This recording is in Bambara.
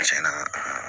Cɛn na